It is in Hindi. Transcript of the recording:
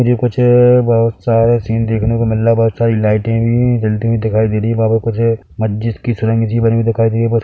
ये कुछ बहुत सारे सीन देखने को मिल रहा है बहुत सारी लाईटे भी जलती हुई दिखाई दे रही है वहाँ पर कुछ मस्जिद कि सुरंग सी बनी हुई दिखाई दे रही है बस--